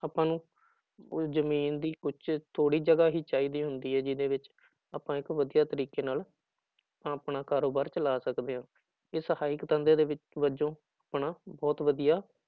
ਆਪਾਂ ਨੂੰ ਉਹ ਜ਼ਮੀਨ ਦੀ ਉੱਚ ਥੋੜ੍ਹੀ ਜਗ੍ਹਾ ਹੀ ਚਾਹੀਦੀ ਹੁੰਦੀ ਹੈ ਜਿਹਦੇ ਵਿੱਚ ਆਪਾਂ ਇੱਕ ਵਧੀਆ ਤਰੀਕੇ ਨਾਲ ਆਪਣਾ ਕਾਰੋਬਾਰ ਚਲਾ ਸਕਦੇ ਹਾਂ, ਇਹ ਸਹਾਇਕ ਧੰਦੇ ਦੇ ਵਜੋਂ ਆਪਣਾ ਬਹੁਤ ਵਧੀਆ